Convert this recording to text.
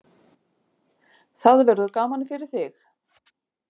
Það verður gaman fyrir þig.